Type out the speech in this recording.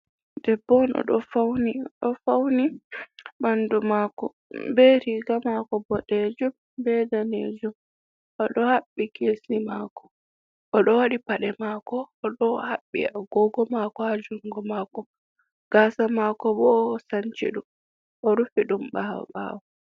Debbo oɗo fauni ɓandu mako be riga mako boɗejum be danejum, oɗo haɓɓi kesi mako oɗo waɗi paɗe mako, oɗo haɓɓi agogo mako ha jungo mako, gasa mako bo osanciɗum o rufi ɗum ɓawo ɓawo.